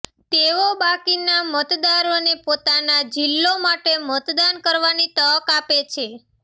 તેઓ બાકીના મતદારોને પોતાના જિલ્લો માટે મતદાન કરવાની તક આપે છે